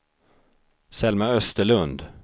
Selma Österlund